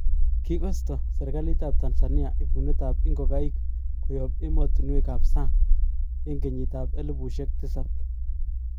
Kikosto serkalit tab Tanzania ibunet tab ikogaik koyob emotunwek kap sang eng kenyitab elibushek tisab